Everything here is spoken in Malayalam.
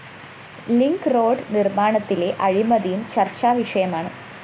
ലിങ്ക്‌ റോഡ്‌ നിര്‍മ്മാണത്തിലെ അഴിമതിയും ചര്‍ച്ചാവിഷയമാണ്